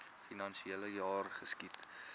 finansiele jaar geskied